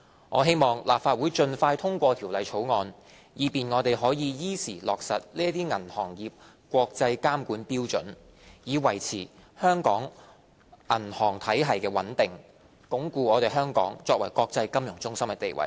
我希望立法會盡快通過《條例草案》，以便我們可以依時落實這些銀行業國際監管標準，以維持香港銀行體系的穩定，鞏固香港作為國際金融中心的地位。